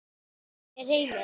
Er heimild?